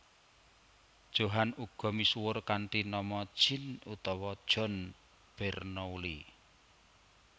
Johann uga misuwur kanthi nama Jean utawa John Bernoulli